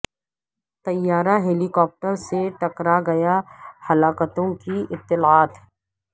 طیارہ helicopter سے ٹکرا گیا ہلاکتوں کی اطلاعات